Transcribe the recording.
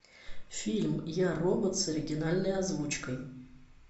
фильм я робот с оригинальной озвучкой